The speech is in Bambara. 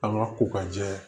An ka ko ka jɛ